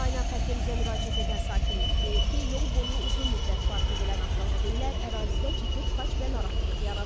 Qaynar xəttimizə müraciət edən sakinlər deyir ki, yol boyu uzun müddət park edilən avtomobillər ərazidə ciddi tıxac və narahatlıq yaradır.